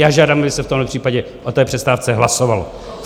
Já žádám, aby se v tomhle případě o té přestávce hlasovalo.